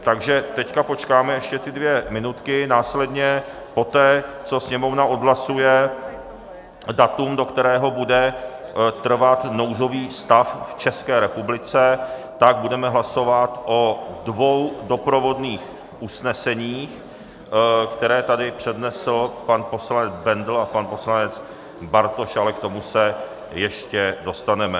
Takže teď počkáme ještě ty dvě minutky, následně poté, co Sněmovna odhlasuje datum, do kterého bude trvat nouzový stav v České republice, tak budeme hlasovat o dvou doprovodných usneseních, která tady přednesl pan poslanec Bendl a pan poslanec Bartoš, ale k tomu se ještě dostaneme.